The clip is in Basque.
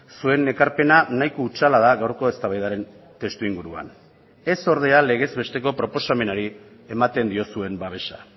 zuen ekarpena nahiko hutsala da gaurko eztabaidaren testuinguruan ez ordea legez besteko proposamenari ematen diozuen babesa